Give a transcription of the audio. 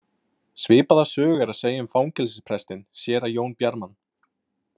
Svipaða sögu er að segja um fangelsisprestinn, séra Jón Bjarman.